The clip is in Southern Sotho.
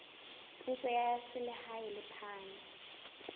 puso ya selehae le phano